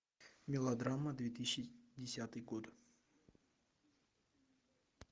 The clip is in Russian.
мелодрама две тысячи десятый год